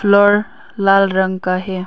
flower लाल रंग का है